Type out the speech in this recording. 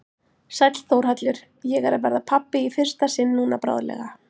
Sæll Þórhallur, ég er að verða pabbi í fyrsta sinn núna bráðlega.